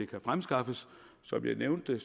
kan fremskaffes som jeg nævnte det